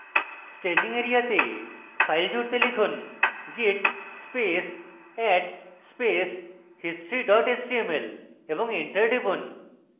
staging এরিয়াতে file জুড়তে লিখুন: git space add space history html এবং enter টিপুন